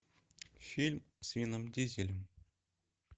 фильм с вином дизелем